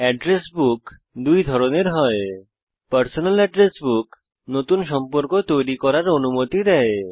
address book দুই ধরনের হয় পার্সোনাল এড্রেস বুক নতুন সম্পর্ক তৈরী করার অনুমতি দেয়